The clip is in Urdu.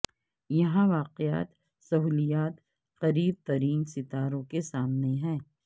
یہاں واقع سہولیات قریب ترین ستاروں کے سامنے ہیں